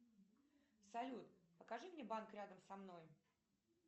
салют покажи мне банк рядом со мной